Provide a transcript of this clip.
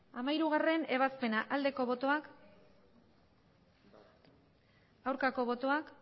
hamairugarrena ebazpena aldeko botoak aurkako botoak